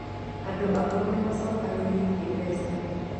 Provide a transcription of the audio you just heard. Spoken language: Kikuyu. Andũ akũrũ nĩ maacokanĩrĩirie mbeca